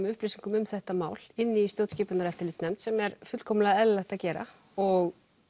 upplýsingum um þetta mál inni í stjórnskipunar og eftirlitsnefnd sem er fullkomlega eðlilegt að gera og